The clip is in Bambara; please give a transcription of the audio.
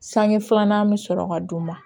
Sange filanan bɛ sɔrɔ ka d'u ma